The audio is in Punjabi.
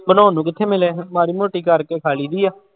ਬਣਾਉਣ ਨੂੰ ਕਿੱਥੇ ਮਿਲੇ, ਮਾੜੀ ਮੋਟੀ ਕਰਕੇ ਖਾ ਲਈਦੀ ਹੈ।